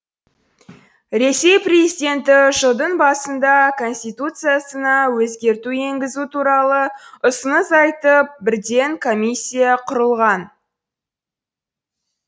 ресей президенті жылдың басында конституциясына өзгерту енгізу туралы ұсыныс айтып бірден комиссия құрылған